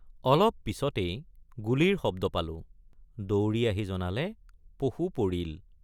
অলপ পিচতেই গুলীৰ শব্দ পালোঁ দৌৰি আহি জনালে পশু পৰিল।